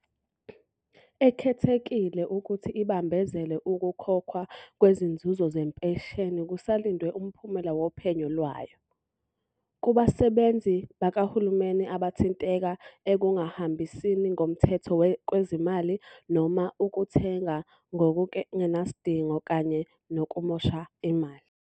Ekhethekile ukuthi ibambezele ukukhokhwa kwezinzuzo zempesheni, kusalindwe umphumela wophenyo lwayo, kubasebenzi bakahulumeni abathinteka ekungahambisini ngomthetho kwezimali noma ukuthenga ngokungenasidingo kanye nokumosha imali.